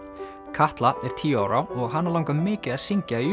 Katla er tíu ára og hana langar mikið að syngja í